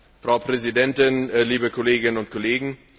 Frau Präsidentin, liebe Kolleginnen und Kollegen!